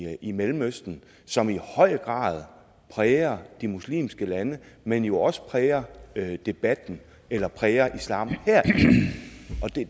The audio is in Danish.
i mellemøsten som i høj grad præger de muslimske lande men jo også præger debatten eller præger islam her og